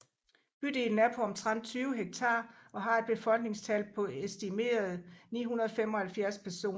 Bydelen er på omtrent 20 hektar og har et befolkningstal på estimerede 975 personer